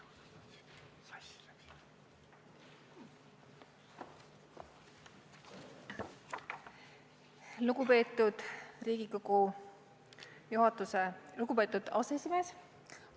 Lugupeetud Riigikogu aseesimees!